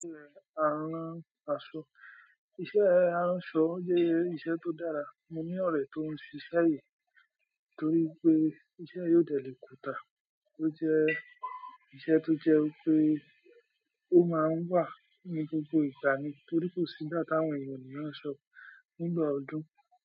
Iṣẹ́ aránaṣọ, iṣẹ́ aránṣọ jẹ́ iṣẹ́ tó dára. Mo ní ọ̀rẹ́ tó ń ṣiṣẹ́ yí torí pé iṣẹ́ yí ò dẹ̀ lè kútà. Ó jẹ́ iṣẹ́ tó jẹ́ wípé ó máa ń wà ní gbogbo ìgbà ní torí kò sígbà táwọn èèyàn ò ní rán aṣọ nígbà ọdún.